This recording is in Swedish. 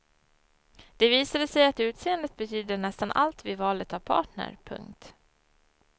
Det visade sig att utseendet betydde nästan allt vid valet av partner. punkt